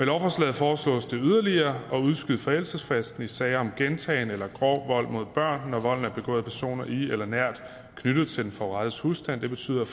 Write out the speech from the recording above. lovforslaget foreslås det yderligere at udskyde forældelsesfristen i sager om gentagen eller grov vold mod børn når volden er begået af personer i eller nært knyttet til den forurettedes husstand det betyder